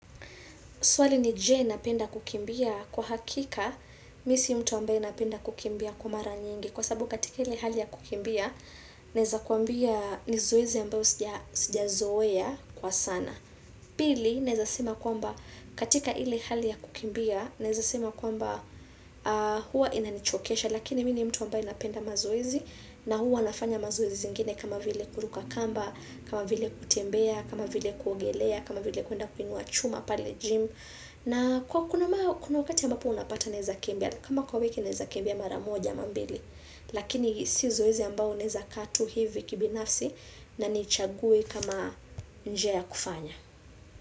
Swali ni je napenda kukimbia kwa hakika, mimi si mtu ambaye napenda kukimbia kwa mara nyingi. Kwa sababu katika ile hali ya kukimbia, naweza kuambia ni zoezi ambao sija zoea kwa sana. Pili, naweza sema kwamba katika ile hali ya kukimbia, naweza sema kwamba hua inanichokesha. Lakini mimi ni mtu ambaye napenda mazoezi na hua nafanya mazoezi zingine kama vile kuruka kamba, kama vile kutembea, kama vile kuogelea, kama vile kuenda kuinua chuma pale gym. Na kwa kuna wakati ambapo unapata neza kimbia, kama kwa wiki naweza kimbia mara moja ama mbili, lakini si zoezi ambao naweza kaa tu hivi kibinafsi na nichague kama njia ya kufanya.